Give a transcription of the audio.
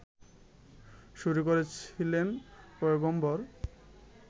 শুরু করেছিলেন পয়গম্বর